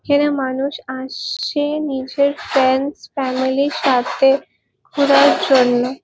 এখানে মানুষ আস-ছে নিজের ফ্রেন্ডস ফ্যামিলির সাথে ঘোরার জন্য ।